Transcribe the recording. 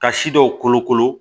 Ka si dɔw kolokolo